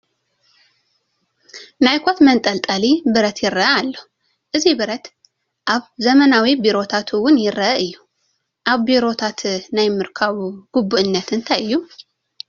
ናይ ኮት መንጠልጠሊ ብረት ይርአ ኣሎ፡፡ እዚ ብረት ኣብ ዘመናዊ ቢሮታት እውን ይርአ እዩ፡፡ ኣብ ቢሮታት ናይ ምርካቡ ግቡእነት እንታይ እዩ?